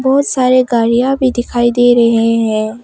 बहुत सारी गाड़ियां भी दिखाई दे रहे हैं।